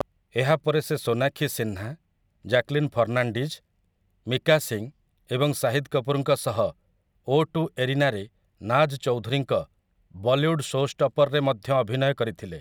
ଏହା ପରେ ସେ ସୋନାକ୍ଷୀ ସିହ୍ନା, ଜ୍ୟାକ୍ଲିନ୍ ଫର୍ଣ୍ଣାଣ୍ଡିଜ୍, ମିକା ସିଂ ଏବଂ ଶାହିଦ୍ କପୁର୍‌ଙ୍କ ସହ 'ଓ ଟୁ' ଏରିନାରେ ନାଜ୍ ଚୌଧୁରୀଙ୍କ 'ବଲିଉଡ୍ ଶୋଷ୍ଟପର୍'ରେ ମଧ୍ୟ ଅଭିନୟ କରିଥିଲେ ।